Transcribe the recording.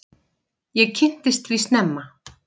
Ég kynntist því snemma.